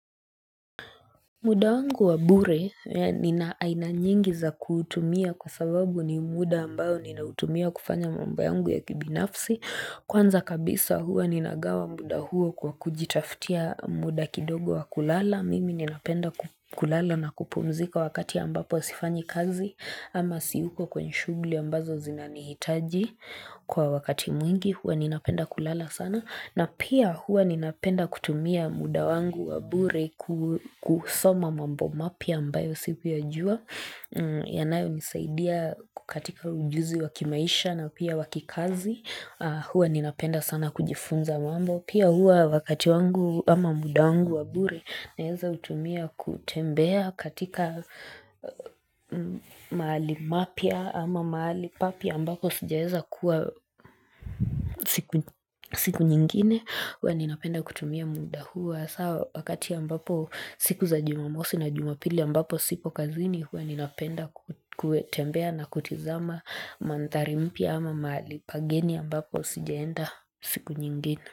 Muda wangu wa bure nina aina nyingi za kuutumia kwa sababu ni muda ambao ninautumia kufanya mambo yangu ya kibinafsi. Kwanza kabisa huwa ninagawa muda huo kwa kujitaftia muda kidogo wa kulala. Mimi ninapenda kulala na kupumzika wakati ambapo sifanyi kazi ama siyuko kwenye shughuli ambazo zinanihitaji kwa wakati mwingi hua nina penda kulala sana. Na pia huwa ninapenda kutumia muda wangu wa bure kusoma mambo mapya ambayo sikuyajua. Yanayonisaidia kukatika ujuzi wakimaisha na pia wakikazi. Hua ninapenda sana kujifunza mambo. Pia hua wakati wangu ama muda wangu wa bure naweza kutumia kutembea katika mahali mapya ama mahali papya ambako sijaweza kuwa siku nyingine. Huwa ninapenda kutumia muda huu haswa wakati ambapo siku za jumamosi na jumapili ambapo sipo kazini Huwa ninapenda kutembea na kutizama manthari mpya ama mahali pageni ambapo sijaenda siku nyingine.